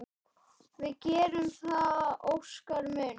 Við gerum það, Óskar minn.